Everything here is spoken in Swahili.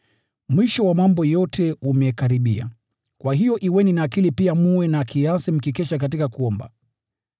Mwisho wa mambo yote umekaribia. Kwa hiyo kuweni na akili tulivu na kiasi, mkikesha katika kuomba.